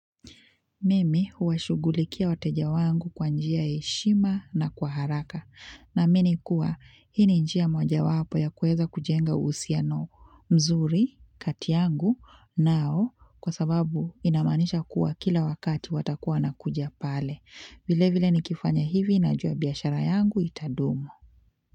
Mimi huwa shugulikia wateja wangu kwa njia eshima na kwa haraka na mini kuwa hini njia mwaja wapo ya kueza kujenga uhusiano mzuri, kati yangu nao kwa sababu inamanisha kuwa kila wakati watakuwa na kuja pale. Vile vile ni kifanya hivi na jua biashara yangu itadumu.